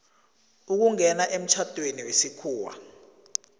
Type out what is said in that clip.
ukungena emtjhadweni wesikhuwa